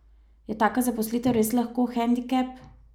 Je taka zaposlitev res lahko hendikep?